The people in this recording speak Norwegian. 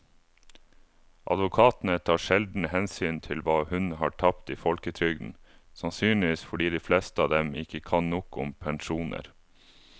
Advokatene tar sjelden hensyn til hva hun har tapt i folketrygden, sannsynligvis fordi de fleste av dem ikke kan nok om pensjoner.